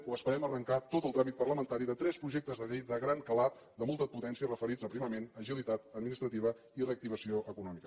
o esperem arrencar tot el tràmit parlamentari de tres projectes de llei de gran calat de molta potència referits a aprimament agilitat administrativa i reactivació econòmica